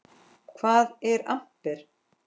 Hvað er amper?